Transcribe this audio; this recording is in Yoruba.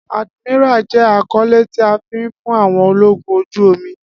Admiral jẹ akọle ti a fi fun àwọn ologun oju-omi